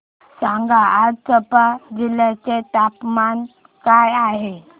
सांगा आज चंबा जिल्ह्याचे तापमान काय आहे